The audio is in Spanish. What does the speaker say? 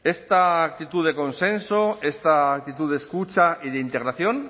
esta actitud de consenso esta actitud de escucha y de integración